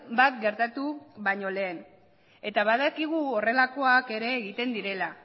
bat gertatu baino lehen eta badakigu horrelakoak ere egiten direla